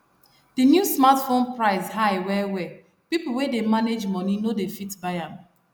the new smartphone price high well well people wey dey manage money no dey fit buy am